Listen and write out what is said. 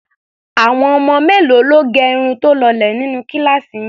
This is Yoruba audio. Àwọn ọmọ mélòó ló gẹ irun tó lọlẹ̀ nínú kíláàsì yín?